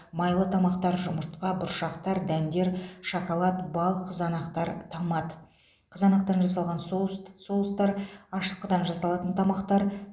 майлы тамақтар жұмыртқа бұршақтар дәндер шоколад бал қызанақтар томат қызанақтан жасалған соуст соустар ашытқыдан жасалатын тамақтар